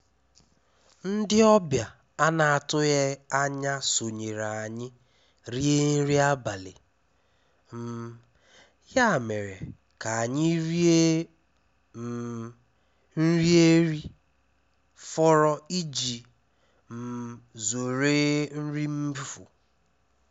Ndí ọ́bịà à nà-àtụghí ányá sónyèré ànyị́ ríé nrí ábalì, um yá mèré ká ànyị́ ríé um nrí érí-fọ́rọ́ íjí um zóré nrí mméfú.